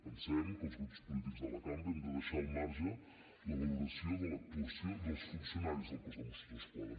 pensem que els grups polítics de la cambra hem de deixar al marge la valoració de l’actuació dels funcionaris del cos de mossos d’esquadra